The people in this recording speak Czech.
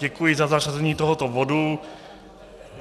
Děkuji za zařazení tohoto bodu.